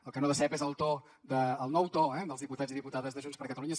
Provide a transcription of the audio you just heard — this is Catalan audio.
el que no decep és el to el nou to dels diputats i diputades de junts per catalunya